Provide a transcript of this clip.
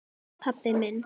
pabbi minn